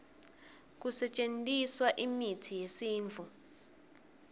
kusetjentiswa imitsi yesintfu